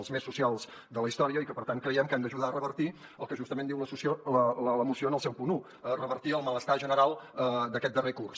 els més socials de la història i que per tant creiem que han d’ajudar a revertir el que justament diu la moció en el seu punt un revertir el malestar general d’aquest darrer curs